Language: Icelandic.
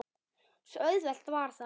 Svo auðvelt var það.